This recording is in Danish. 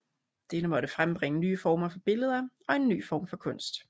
Dette må frembringe nye former for billeder og en ny form for kunst